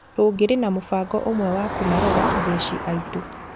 Tũngĩrĩ na mũbango ũmwe wa kũmarora jeci aitũ.